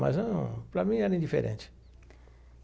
Mas para mim era indiferente.